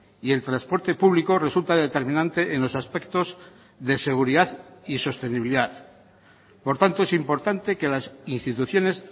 y el transporte público resulta determinante en los aspectos de seguridad y sostenibilidad por tanto es importante que las instituciones